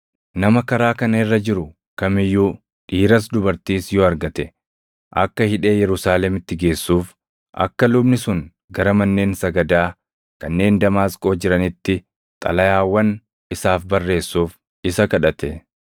nama karaa kana irra jiru kam iyyuu dhiiras dubartiis yoo argate akka hidhee Yerusaalemitti geessuuf akka lubni sun gara manneen sagadaa kanneen Damaasqoo jiraniitti xalayaawwan isaaf barreessuuf isa kadhate.